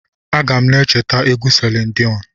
Aga m na-echeta egwu Selin Diọnụ.